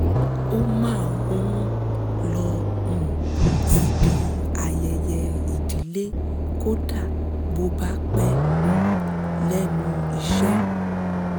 ó máa ń lọ um síbi ayẹyẹ ìdílé kódà bó bá pẹ um lẹ́nu iṣẹ́